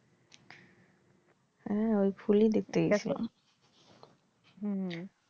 হ্যাঁ ওই ফুলই দেখতে গেছিলাম হুম।